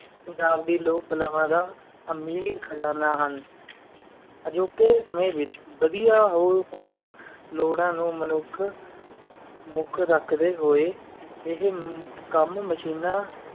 ਪੰਜਾਬ ਦੀ ਲੋਕ ਕਲਾ ਦਾ ਅਮੀਰ ਖ਼ਜ਼ਾਨਾ ਹਨ ਅਜੋਕੀ ਸਾਮੀ ਵਿਚ ਵੱਡੀਆਂ ਹੋਏ ਲੋੜ ਨੂੰ ਮਾਨੁਖ ਮੁਖ ਰੱਖੜੀ ਹੋਏ ਆ ਹਾਯ ਕਾਮ ਮਸ਼ੀਨਾਂ